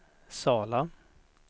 Sala